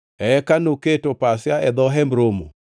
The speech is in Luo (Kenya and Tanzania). Eka noketo pasia e dho Hemb Romo.